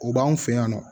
O b'anw fɛ yan nɔ